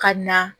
Ka na